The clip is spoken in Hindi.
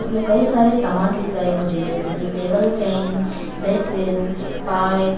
इसमें कई सारे सामान दिख रहा है मुझे जैसे की टेबल फैन बेसीन पाइप।